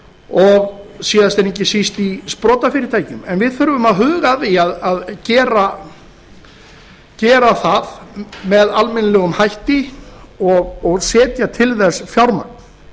og síðast en ekki síst í sprotafyrirtækjum en við þurfum að huga að því að gera það með almennilegum hætti og setja til þess fjármagn